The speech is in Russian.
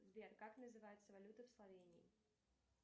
сбер как называется валюта в словении